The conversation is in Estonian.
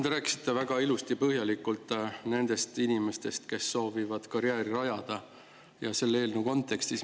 Te rääkisite väga ilusti põhjalikult nendest inimestest, kes soovivad karjääri rajada, ja selle eelnõu kontekstis.